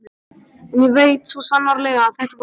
En ég veit svo sannarlega að þetta var slys.